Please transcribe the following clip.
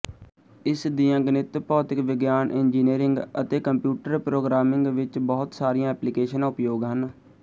ਇਸ ਦੀਆਂ ਗਣਿਤ ਭੌਤਿਕ ਵਿਗਿਆਨ ਇੰਜੀਨਿਅਰਿੰਗ ਅਤੇ ਕੰਪਿਊਟਰ ਪ੍ਰੋਗਰਾਮਿੰਗ ਵਿੱਚ ਬਹੁਤ ਸਾਰੀਆਂ ਐਪਲੀਕੇਸ਼ਨਾਂ ਉਪਯੋਗ ਹਨ